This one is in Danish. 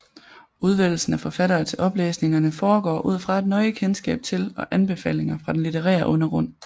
Udvælgelsen af forfattere til oplæsningerne foregår ud fra et nøje kendskab til og anbefalinger fra den litterære undergrund